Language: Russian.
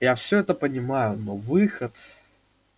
я всё это понимаю но выход